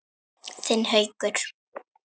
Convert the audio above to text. Þinn Haukur.